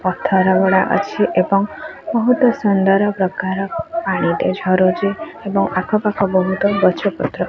ପଥରଗୁଡା ଅଛି ଏବଂ ବହୁତ୍ ସୁନ୍ଦର ପ୍ରକାର ପାଣିଟେ ଝରୁଚି ଏବଂ ଆଖପାଖ ବହୁତ୍ ଗଛ ପତ୍ର--